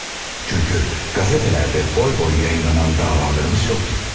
Çünki qəzetlərdə boy-boy yayınlanan davalarımız yoxdu.